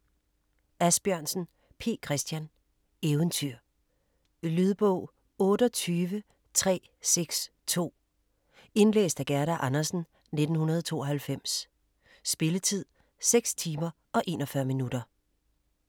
Asbjørnsen, P. Chr.: Eventyr Lydbog 28362 Indlæst af Gerda Andersen, 1992. Spilletid: 6 timer, 41 minutter.